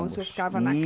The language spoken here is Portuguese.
O senhor ficava na